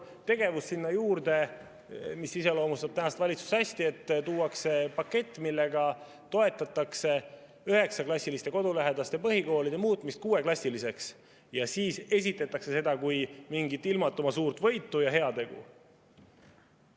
Tegevus sinna juurde, mis iseloomustab tänast valitsust hästi: tuuakse pakett, millega toetatakse üheksaklassiliste kodulähedaste põhikoolide muutmist kuueklassiliseks ja siis esitatakse seda kui mingit ilmatuma suurt võitu ja heategu.